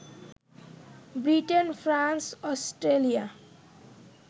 Britain, France, Australia